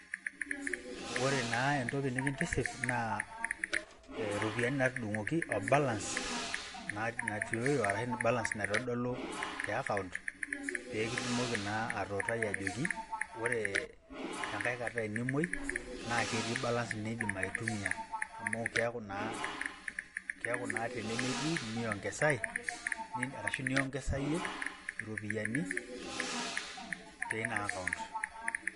ore naa entoki nikintiship, naa iropiyiani natudung'oki,o balance natioyo arashu balance naitodolu, te account pee kitumoki naa atuuutai ajoki, ore tenkae kata enimuoi naa ketii balance nidim tumia amu, keeku na tenemetii niongesae ashu niongesayie iropiyiani teina account.